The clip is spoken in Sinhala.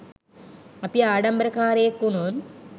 අපි ආඩම්බරකාරයෙක් වුණොත්